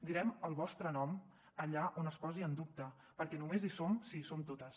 direm el vostre nom allà on es posi en dubte perquè només hi som si hi som totes